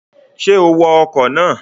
Ṣé o wọ ọkọ̀ náà?